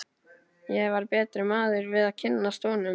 Ég varð betri maður við að kynnast honum.